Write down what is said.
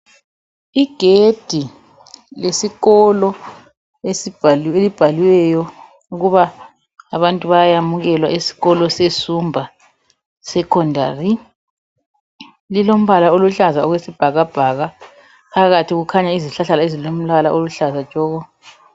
Igedi lesikolo elibhaliweyo ukuba abantu bayayamukelwa esikolo sesumba secondary lilombala oluhlaza okwesibhakabhaka phakathi kukhanya izihlahla ezilombala oluhlaza tshoko